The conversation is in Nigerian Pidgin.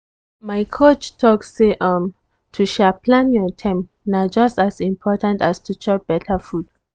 my coach talk say um to um plan your time na just as important as to chop better food.